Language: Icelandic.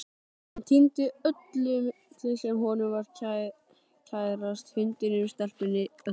Hann týndi öllu sem honum var kærast, hundinum, stelpunni, öllu.